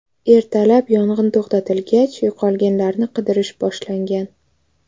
Ertalab yong‘in to‘xtatilgach, yo‘qolganlarni qidirish boshlangan.